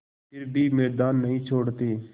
फिर भी मैदान नहीं छोड़ते